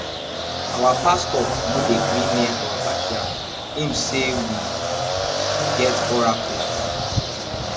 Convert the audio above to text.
our pastor no dey gree near our backyard im say we get oracle for dia